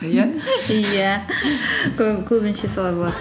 иә иә солай болады